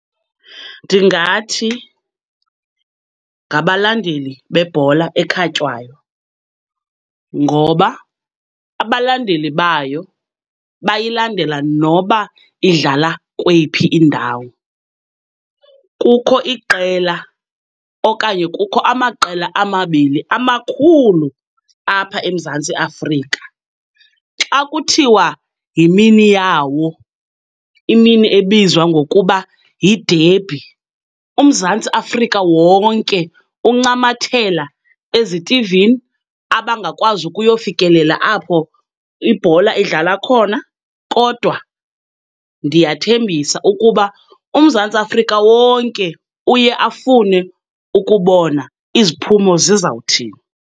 Ndingathi ngabalandeli bebhola ekhatywayo, ngoba abalandeli bayo bayilandela noba idlala kweyiphi indawo. Kukho iqela okanye kukho amaqela amabini amakhulu apha eMzantsi Afika. Xa kuthiwa yimini yawo, imini ebizwa ngokuba yidebhi, uMzantsi Afrika wonke uncamathela ezitivini abangakwazi ukuyofikelela apho ibhola idlalwa khona. Kodwa ndiyathembisa ukuba uMzantsi Afrika wonke uye afune ukubona iziphumo zizawuthini.